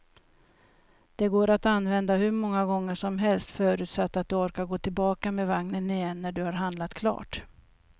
Den går att använda hur många gånger som helst, förutsatt att du orkar gå tillbaka med vagnen igen när du har handlat klart.